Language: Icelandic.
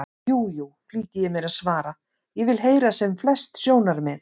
Jú, jú, flýti ég mér að svara, ég vil heyra sem flest sjónarmið.